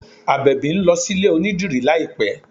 Àbẹ̀bì ń lọ sí ilé onídìrí láìpẹ́